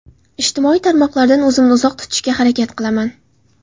Ijtimoiy tarmoqlardan o‘zimni uzoq tutishga harakat qilaman.